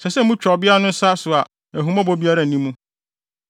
ɛsɛ sɛ motwa ɔbea no nsa no a ahummɔbɔ biara nni mu.